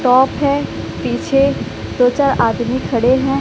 Top है पीछे दो चार आदमी खड़े हैं।